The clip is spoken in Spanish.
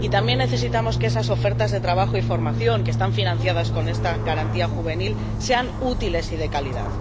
Y también necesitamos que esas ofertas de trabajo y formación que están financiadas con esta Garantía Juvenil sean útiles y de calidad.